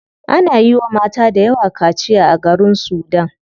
Ana yiwa mata dayawa kaciya a garin sudan.